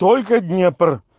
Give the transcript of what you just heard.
только днепр